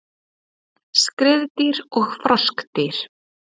Skriðdýr og froskdýr